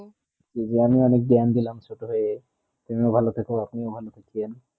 বিজ্ঞানে অনেক জ্ঞান দিলাম ছোট হয়ে তুমিও ভালো থাকো আপনিও ভালো থাকেন